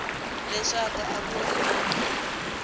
leswaku a ku ri na